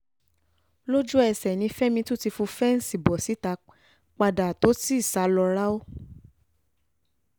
lójú-ẹsẹ̀ ni fẹ́mi ti tún fọ́ fẹ́ǹsì bò síta padà tó sì sá lọ ráú